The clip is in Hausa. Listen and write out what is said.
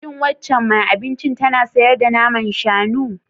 Shin waccan mai abincin tana sayar da naman shanu?